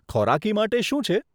ખોરાકી માટે શું છે?